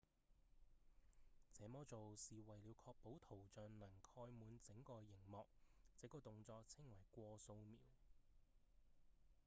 這麼做是為了確保圖像能蓋滿整個螢幕這個動作稱為「過掃描」